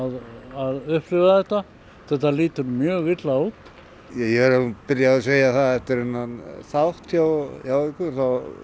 að upplifa þetta þetta lítur mjög illa út ég vil byrja á að segja það eftir þennan þátt hjá ykkur